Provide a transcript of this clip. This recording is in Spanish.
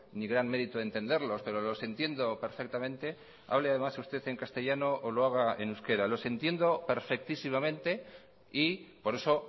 ni gran mérito entenderlos pero los entiendo perfectamente hable además usted en castellano o lo haga en euskera los entiendo perfectísimamente y por eso